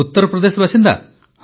ଉତ୍ତର ପ୍ରଦେଶର ବାସିନ୍ଦା